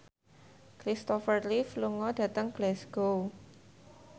Christopher Reeve lunga dhateng Glasgow